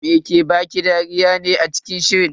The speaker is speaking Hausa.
Me ke baki dariya ne a cikin shirin?